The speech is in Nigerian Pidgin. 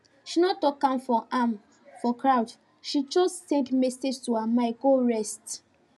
she no talk am for am for crowd she just send message so her mind go rest